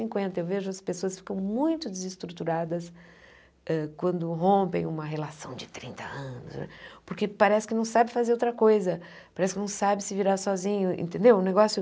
Cinquenta eu vejo as pessoas ficam muito desestruturadas quando rompem uma relação de trinta anos, porque parece que não sabe fazer outra coisa, parece que não sabe se virar sozinho, entendeu? Um negócio